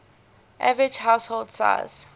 average household size